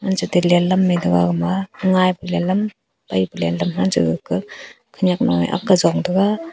chate lenlam mai taga gama ngaipa lehlam paipalam hancha ga ka khanyak nu e ak ka jong taga.